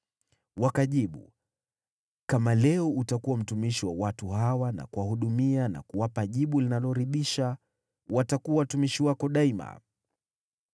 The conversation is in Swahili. Wakajibu, “Kama leo utakuwa mtumishi wa watu hawa na kuwahudumia na kuwapa jibu linaloridhisha, watakuwa watumishi wako daima.”